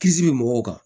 Kisi bɛ mɔgɔw kan